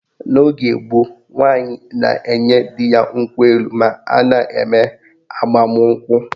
N'oge gboo, nwaanyị na-enye di ya nkwụ elu ma a na-eme agbamụnkwụ